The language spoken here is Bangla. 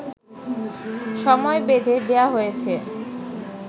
সময় বেঁধে দেয়া হয়েছে